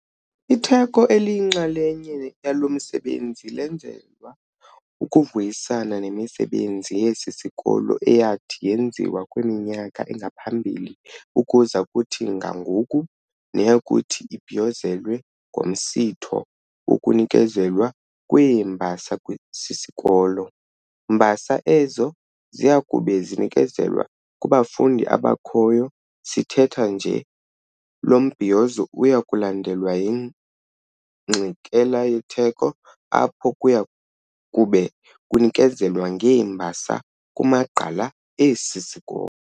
Itheko eliyinxalenye yalo msebenzi lenzelwa ukuvuyisana nemisebenzi yesi sikolo eyathi yenziwa kwimyaka engaphambili ukuza kuthi ga ngoku, neyakuthi ibhiyozelwe ngomsitho wokunikezelwa kweembasa sisikolo, mbasa ezo ziyakube zinikezelwa kubafundi abakhoyo sithetha nje. Lo mbhiyozo uyakulandelwa yingxikela yetheko, apho kuyakube kunikezelwa ngeembasa kumagqala esi sikolo.